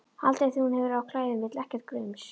Aldrei þegar hún hefur á klæðum, vill ekkert gums.